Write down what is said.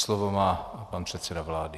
Slovo má pan předseda vlády.